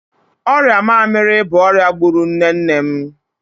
Ọrịa mamịrị bụ ọria gbụrụ nne nne m.